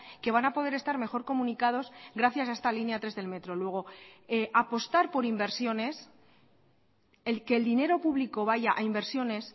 que van a poder estar mejor comunicados gracias a esta línea tres del metro luego apostar por inversiones el que el dinero público vaya a inversiones